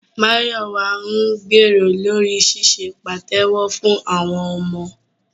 Máyọ̀wà ń gbèrò lórí ṣíṣe pàtẹ́wọ́ fún àwọn ọmọ